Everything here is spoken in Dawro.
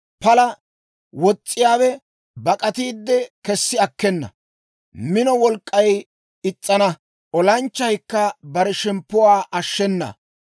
Pala wos's'iyaawe bak'atiide kessi akkena; minoo wolk'k'ay is's'ana; olanchchaykka bare shemppuwaa ashshenna.